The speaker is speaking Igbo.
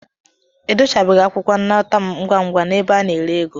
Edochabeghị akwụkwọ nnata m ngwa ngwa n'ebe a na-ere ego.